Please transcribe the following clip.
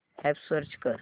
app search कर